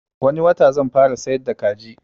Wani wata zan fara siyar da kaji